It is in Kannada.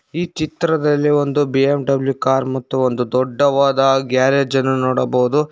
ಈ ಚಿತ್ರದಲ್ಲಿ ಒಂದು ಬಿ_ಎಂ_ಡಬ್ಲ್ಯೂ ಕಾರ್ ಮತ್ತು ಒಂದು ದೊಡ್ಡವಾದ ಗ್ಯಾರೇಜ್ ಅನ್ನು ನೋಡಬಹುದು.